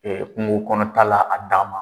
Ɛɛ kungokɔnɔta la a dan ma